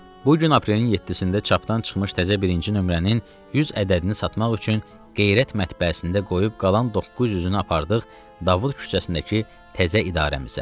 Bu gün aprelin 7-sində çapdan çıxmış təzə birinci nömrənin 100 ədədini satmaq üçün Qeyrət Mətbəəsində qoyub qalan 900-nü apardıq Davud küçəsindəki təzə idarəmizə.